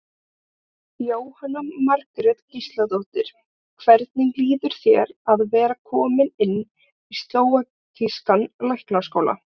Jóhanna Margrét Gísladóttir: Hvernig líður þér að vera kominn inn í slóvakískan læknaskóla?